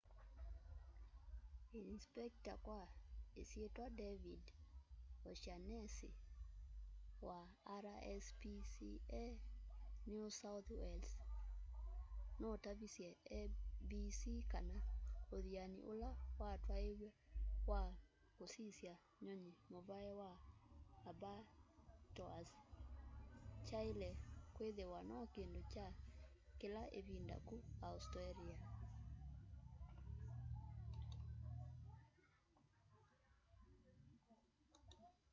inisipekita kwa isyitwa david o'shannesy wa rspca new south wales nutavisye abc kana uthiani ula watwaiw'e wa kusisya nyunyi muvai wa abbatoirs kyaile kwithiwa no kindu kya kila ivinda ku australia